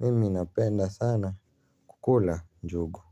Mimi napenda sana kukula njugu.